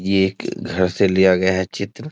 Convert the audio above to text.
ये एक घर से लिया गया है चित्र।